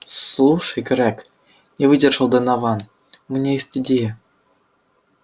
слушай грег не выдержал донован у меня есть идея